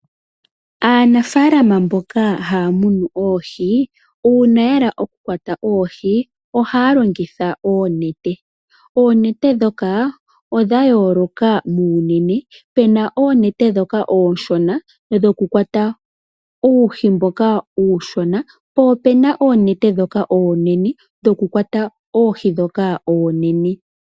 Aanafaalama mboka haa munu oohi uuna ya hala oku kwata oohi, ohaa longitha oonete. Oonete ndhoka odha yooloka muunene pena oonete ndhoka oonshona dho ku kwata uuhi mboka uushona po opena oonete ndhoka oonene, dhokukwata oohi ndhoka oonene.